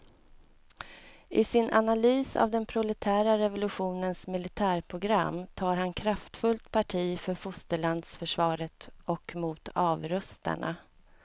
I sin analys av den proletära revolutionens militärprogram tar han kraftfullt parti för fosterlandsförsvaret och mot avrustarna.